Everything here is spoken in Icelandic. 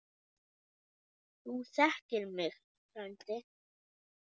Þú þekkir mig frændi.